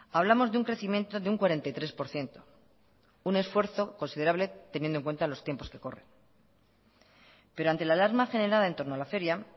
hablamos de un crecimiento de un cuarenta y tres por ciento un esfuerzo considerable teniendo en cuenta los tiempos que corren pero ante la alarma generada en torno a la feria